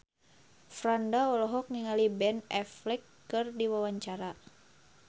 Franda olohok ningali Ben Affleck keur diwawancara